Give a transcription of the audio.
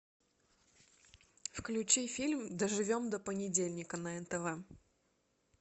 включи фильм доживем до понедельника на нтв